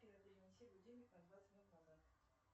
афина перенеси будильник на двадцать минут назад